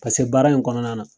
baara in kɔnɔna na